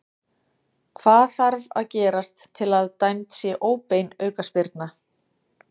Hvað þarf að gerast til að dæmd sé óbein aukaspyrna?